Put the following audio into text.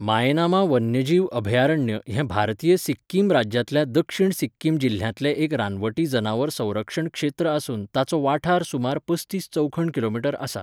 माएनामा वन्यजीव अभयारण्य हें भारतीय सिक्किम राज्यांतल्या दक्षिण सिक्किम जिल्ह्यांतलें एक रानवटी जनावर संरक्षण क्षेत्र आसून ताचो वाठार सुमार पस्तीस चौखण किलोमीटर आसा.